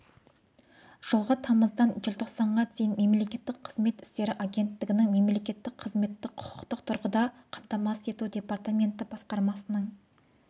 жылғы тамыздан желтоқсанға дейін мемлекеттік қызмет істері агенттігінің мемлекеттік қызметті құқықтық тұрғыдан қамтамасыз ету департаменті басқармасының